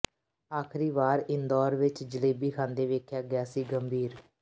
ਆਖਰੀ ਵਾਰ ਇੰਦੌਰ ਵਿਚ ਜਲੇਬੀ ਖਾਂਦੇ ਵੇਖਿਆ ਗਿਆ ਸੀ ਗੰਭੀਰ